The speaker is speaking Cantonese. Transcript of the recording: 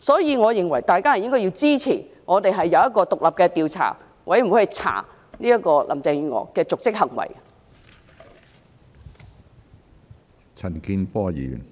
有鑒於此，大家應該支持成立獨立調查委員會，調查林鄭月娥的瀆職行為。